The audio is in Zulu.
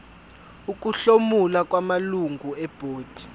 ukuhlomula kwamalungu ebhodi